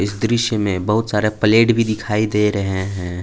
इस दृश्य में बहुत सारे प्लेट भी दिखाई दे रहे हैं।